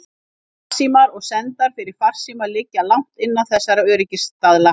Farsímar og sendar fyrir farsíma liggja langt innan þessara öryggisstaðla.